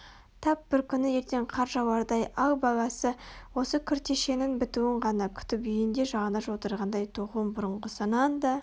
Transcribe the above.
тап бір күні ертең қар жауардай ал баласы осы күртешенің бітуін ғана күтіп үйінде жалаңаш отырғандай тоқуын бұрынғысынан да